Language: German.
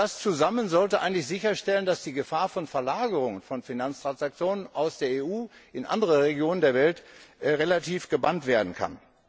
Das zusammen sollte eigentlich sicherstellen, dass die Gefahr von Verlagerungen von Finanztransaktionen aus der EU in andere Regionen der Welt relativ gebannt werden kann.